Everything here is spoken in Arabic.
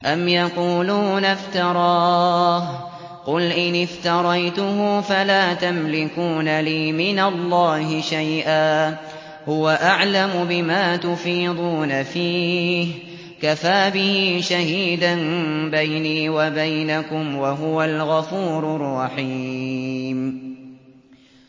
أَمْ يَقُولُونَ افْتَرَاهُ ۖ قُلْ إِنِ افْتَرَيْتُهُ فَلَا تَمْلِكُونَ لِي مِنَ اللَّهِ شَيْئًا ۖ هُوَ أَعْلَمُ بِمَا تُفِيضُونَ فِيهِ ۖ كَفَىٰ بِهِ شَهِيدًا بَيْنِي وَبَيْنَكُمْ ۖ وَهُوَ الْغَفُورُ الرَّحِيمُ